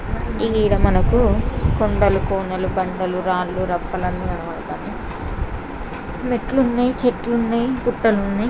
ఇగ ఈడ మనకు కొండలు కోణాలు కొండలు రాలు రప్పలు కనబడుతున్నాయి మెట్లున్నాయి చెట్లున్నాయి ఘట్టాలున్నాయి.